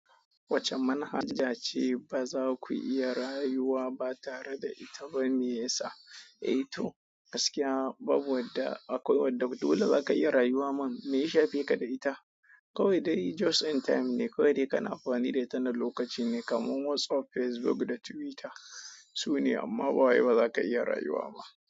Wacce manhaja ce ba za ku iya rayuwa ba tare da ita ba mai yasa? Eh to, gaskiya babu wadda akwai wadda dole za ka iya rayuwa ma. Me ya shafe ka da ita? Kawai dai just in time ne kawai dai kana amfani da ita na lokaci ne kamar WhatsApp, Facebook da Twitter sune amma ba wai ba za ka iya rayuwa ba.